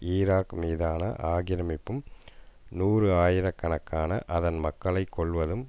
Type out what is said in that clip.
Iraq மீதான ஆக்கிரமிப்பும் நூறு ஆயிரக்கணகாகன அதன் மக்களை கொல்வதும்